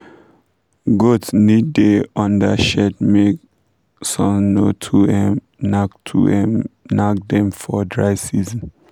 goats need da under shade make sun no too um nak too um nak dem for dry season